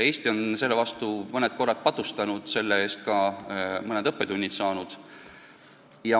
Eesti on selle vastu mõned korrad patustanud ja selle eest ka mõned õppetunnid saanud.